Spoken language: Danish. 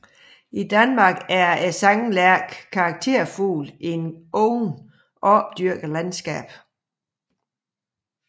I Danmark er sanglærken karakterfugl i det åbne opdyrkede landskab